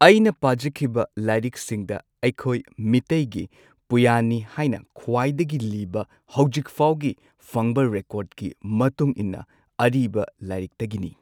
ꯑꯩꯅ ꯄꯥꯖꯈꯤꯕ ꯂꯥꯏꯔꯤꯛꯁꯤꯡꯗ ꯑꯩꯈꯣꯏ ꯃꯤꯇꯩꯒꯤ ꯄꯨꯌꯥꯅꯤ ꯍꯥꯏꯅ ꯈ꯭ꯋꯥꯏꯗꯒꯤ ꯂꯤꯕ ꯍꯧꯖꯤꯛꯐꯥꯎꯒꯤ ꯐꯪꯕ ꯔꯦꯀꯣꯔꯗꯀꯤ ꯃꯇꯨꯡ ꯏꯟꯅ ꯑꯔꯤꯕ ꯂꯥꯏꯔꯤꯛꯇꯒꯤꯅꯤ꯫